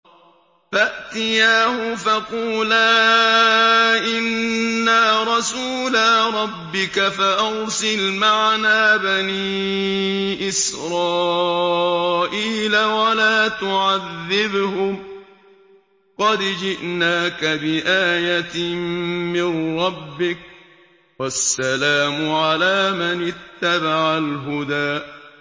فَأْتِيَاهُ فَقُولَا إِنَّا رَسُولَا رَبِّكَ فَأَرْسِلْ مَعَنَا بَنِي إِسْرَائِيلَ وَلَا تُعَذِّبْهُمْ ۖ قَدْ جِئْنَاكَ بِآيَةٍ مِّن رَّبِّكَ ۖ وَالسَّلَامُ عَلَىٰ مَنِ اتَّبَعَ الْهُدَىٰ